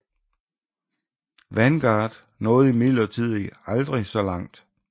Vanguard nåede imidlertid aldrig så langt